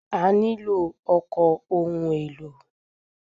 A nílò ọkọ̀ ohun èlò.